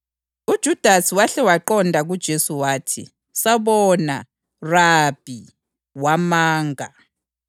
UJudasi wahle waqonda kuJesu wathi, “Sabona, Rabi!” wamanga.